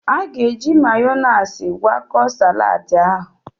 A ga-eji Mayoniisi gwakọta saladi ahụ.